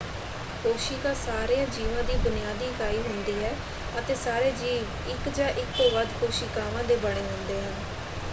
ਕੋਸ਼ਿਕਾ ਸਾਰਿਆਂ ਜੀਵਾਂ ਦੀ ਬੁਨਿਆਦੀ ਇਕਾਈ ਹੁੰਦੀ ਹੈ ਅਤੇ ਸਾਰੇ ਜੀਵ ਇੱਕ ਜਾਂ ਇੱਕ ਤੋਂ ਵੱਧ ਕੋਸ਼ਿਕਾਵਾਂ ਦੇ ਬਣੇ ਹੁੰਦੇ ਹਨ।